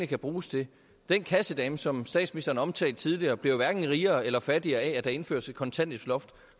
kan bruges til den kassedame som statsministeren omtalte tidligere bliver jo hverken rigere eller fattigere af at der indføres et kontanthjælpsloft